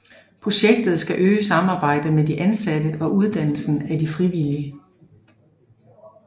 Projektet skal øge samarbejdet med de ansatte og uddannelsen af de frivillige